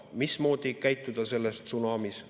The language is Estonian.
Mismoodi käituda selles tsunamis?